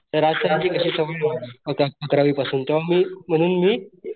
राज sir कशी सवय मला अकरावी पासून त्यामुळं मी म्हणून मी,